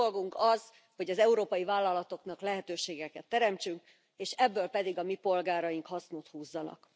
A mi dolgunk az, hogy az európai vállalatoknak lehetőségeket teremtsünk, és ebből pedig a mi polgáraink hasznot húzzanak.